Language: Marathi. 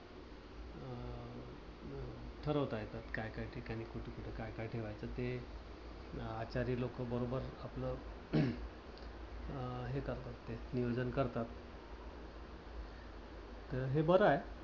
ठरवता येतात. काय काय ठिकाणी कुठ कुठ काय काय ठेवायचं. ते आचारी लोकं बरोबर आपलं हम्म हे करतात ते नियोजन करतात. हे बर आहे.